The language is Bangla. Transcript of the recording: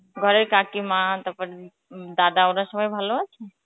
ঘরের কাকিমা তারপর উম দাদা, ওরা সবাই ভালো আছে?